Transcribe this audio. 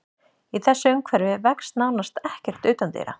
Í þessu umhverfi vex nánast ekkert utandyra.